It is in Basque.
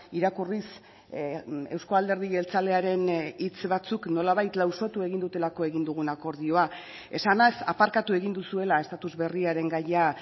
irakurriz euzko alderdi jeltzalearen hitz batzuk nolabait lausotu egin dutelako egin dugun akordioa esanez aparkatu egin duzuela estatus berriaren gaia